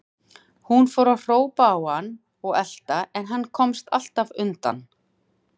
Hún fór að hrópa á hann og elta, en hann komst alltaf undan.